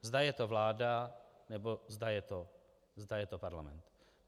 Zda je to vláda, nebo zda je to parlament.